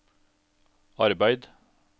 arbeid